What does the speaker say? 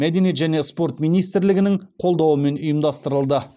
мәдениет және спорт министрлігінің қолдауымен ұйымдастырылды